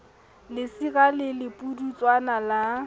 lesira le le pudutswana la